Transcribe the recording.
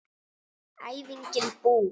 Æfingin búin!